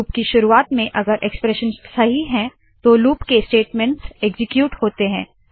loop की शुरुवात में अगर एक्सप्रेशन सही है तो लूप के स्टेटमेंट्स एक्सीक्यूट होते है